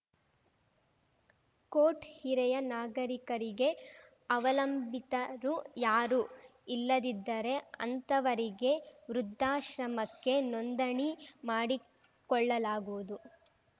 coat ಹಿರೆಯ ನಾಗರಿಕರಿಗೆ ಅವಲಂಬಿತರು ಯಾರೂ ಇಲ್ಲದಿದ್ದರೆ ಅಂಥವರಿಗೆ ವೃದ್ಧಾಶ್ರಮಕ್ಕೆ ನೋಂದಣಿ ಮಾಡಿಕೊಳ್ಳಲಾಗುವುದು